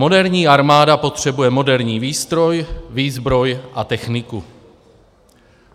Moderní armáda potřebuje moderní výstroj, výzbroj a techniku.